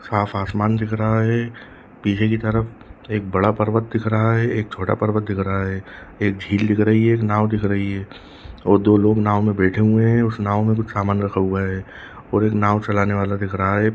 साफ आसमान दिख रहा है पीछे की तरफ एक बड़ा पर्वत दिख रहा है एक छोटा पर्वत दिख रहा है एक झील दिख रही है एक नाव दिख रही है और दो लोग नाव में बैठे हुए है उस नाओ में कुछ सामान रखा हुआ है और एक नाओ चलाने वाला दिख रहा है।